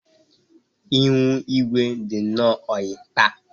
Ihu igwe dị nnọọ oyi taa